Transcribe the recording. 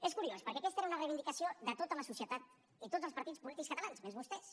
és curiós perquè aquesta era una reivindicació de tota la societat i de tots els partits polítics catalans menys vostès